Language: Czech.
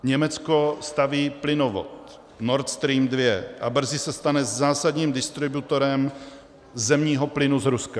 Německo staví plynovod Nord Stream 2 a brzy se stane zásadním distributorem zemního plynu z Ruska.